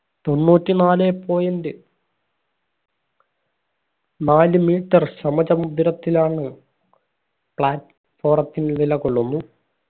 തൊണ്ണൂറ്റി നാലെ point നാല് metre സമചമുദ്രത്തിലാണ് plat forum ത്തിൽ നിലകൊള്ളുന്നു.